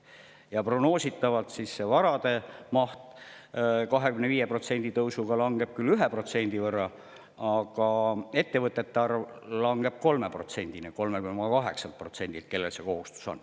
Ja prognoositavalt varade maht 25%‑lise tõusuga langeb küll 1% võrra, aga nende ettevõtete arv, kellel see kohustus on, langeb 3,8%-lt 3%-le.